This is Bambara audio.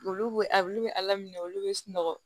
Olu be alu be ala minɛ olu be sunɔgɔ